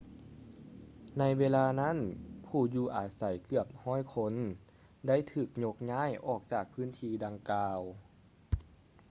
ໃນເວລານັ້ນ ຜູ້ຢູ່ອາໄສເກືອບ 100 ຄົນ ໄດ້ຖືກຍົກຍ້າຍອອກຈາກພື້ນທີ່ດັ່ງກ່າວ